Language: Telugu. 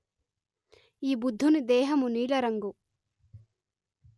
ఈ బుద్ధుని దేహము నీల రంగు